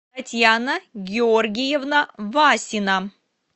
татьяна георгиевна васина